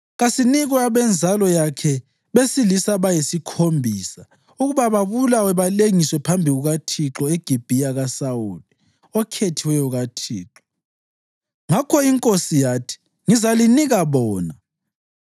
kasinikwe abenzalo yakhe besilisa abayisikhombisa ukuba babulawe balengiswe phambi kukaThixo eGibhiya kaSawuli, okhethiweyo kaThixo.” Ngakho inkosi yathi, “Ngizalinika bona.”